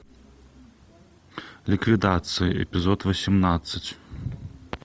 ликвидация эпизод восемнадцать